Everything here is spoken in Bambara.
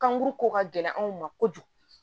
Kanguru ko ka gɛlɛn anw ma kojugu